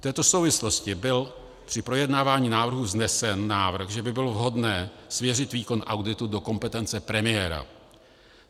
V této souvislosti byl při projednávání návrhu vznesen návrh, že by bylo vhodné svěřit výkon auditu do kompetence premiéra.